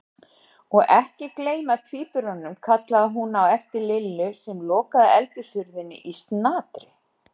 Og ekki gleyma tvíburunum kallaði hún á eftir Lillu sem lokaði eldhúshurðinni í snatri.